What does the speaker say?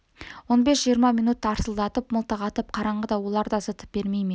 он бес-жиырма минут тарсылдатып мылтық атып қараңғыда олар да зытып бермей ме